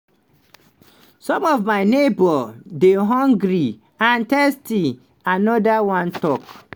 "some of my neighbours dey hungry and thirsty" anoda one tok.